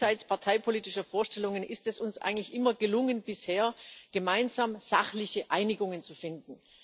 Jenseits parteipolitischer Vorstellungen ist es uns bisher eigentlich immer gelungen, gemeinsam sachliche Einigungen zu finden.